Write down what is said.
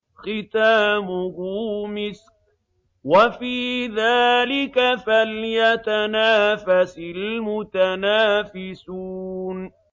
خِتَامُهُ مِسْكٌ ۚ وَفِي ذَٰلِكَ فَلْيَتَنَافَسِ الْمُتَنَافِسُونَ